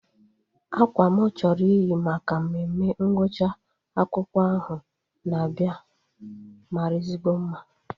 Akwa mụ chọrọ iyi maka mmemme ngwụcha akwụkwọ ahụ na-abịa mara ezigbo mma